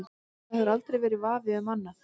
Það hefur aldrei verið vafi um annað.